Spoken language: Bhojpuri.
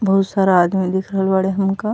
बहुत सारा आदमी दिख रहल बाड़े हमका।